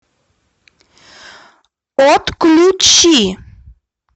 отключи